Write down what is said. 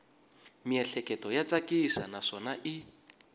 miehleketo ya tsakisa naswona i